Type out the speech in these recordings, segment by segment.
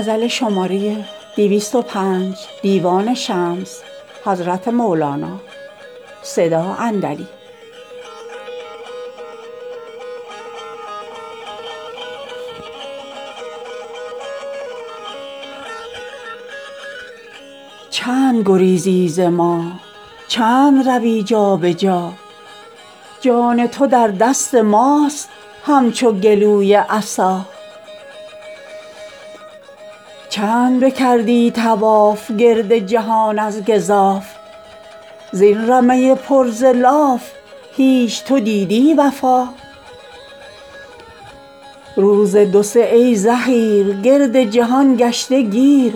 چند گریزی ز ما چند روی جا به جا جان تو در دست ماست همچو گلوی عصا چند بکردی طواف گرد جهان از گزاف زین رمه پر ز لاف هیچ تو دیدی وفا روز دو سه ای زحیر گرد جهان گشته گیر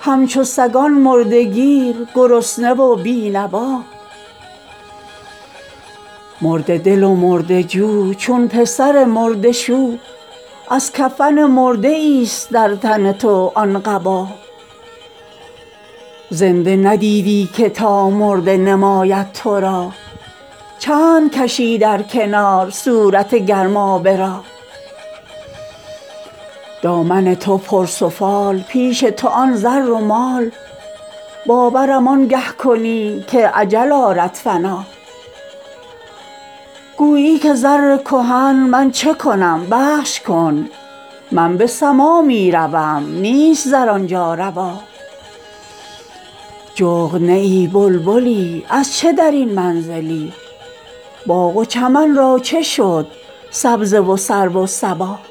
همچو سگان مرده گیر گرسنه و بی نوا مرده دل و مرده جو چون پسر مرده شو از کفن مرده ایست در تن تو آن قبا زنده ندیدی که تا مرده نماید تو را چند کشی در کنار صورت گرمابه را دامن تو پرسفال پیش تو آن زر و مال باورم آنگه کنی که اجل آرد فنا گویی که زر کهن من چه کنم بخش کن من به سما می روم نیست زر آن جا روا جغد نه ای بلبلی از چه در این منزلی باغ و چمن را چه شد سبزه و سرو و صبا